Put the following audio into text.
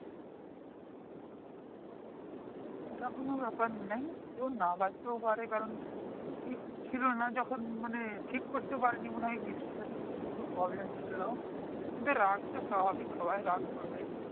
এটা কোনো ব্যাপারনাই কারণ না বাজতেই পারে কারণ ঠিক ছিলোনা যখন মানে ঠিক করে পারেনি মনেহয় speaker এর কিছু ছিল কিন্তু রাগটা স্বাভাবিক সবাই রাগ করবেই